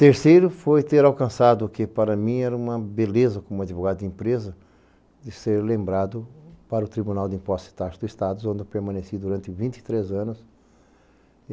Terceiro foi ter alcançado, o que para mim era uma beleza como advogado de empresa, de ser lembrado para o Tribunal de Impostos e Taxas do Estado, onde eu permaneci durante vinte e três anos.